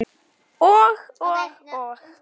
Og, og, og.